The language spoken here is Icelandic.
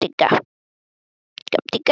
Þú hlýtur að skilja að mig langar að ferðast.